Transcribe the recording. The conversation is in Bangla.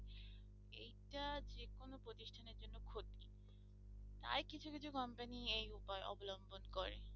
তাই কিছু কিছু company এই উপায় অবলম্বন করে।